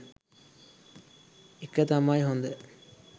එක තමයි හොඳ.